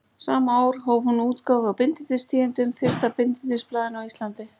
Sama ár hóf hún útgáfu á Bindindistíðindum, fyrsta bindindisblaðinu á Íslandi.